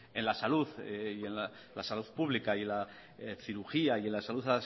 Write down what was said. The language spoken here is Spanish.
en la salud pública en la cirugía y en la salud